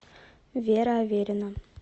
вера аверина